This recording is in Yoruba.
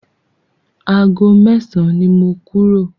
Ago mẹ́san ni mo kúrò.